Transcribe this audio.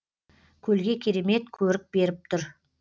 көлге керемет көрік беріп тұр